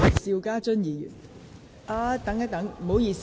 邵家臻議員，請發言。